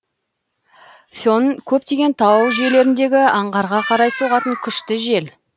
фен көптеген тау жүйелеріндегі аңғарға қарай соғатын күшті жел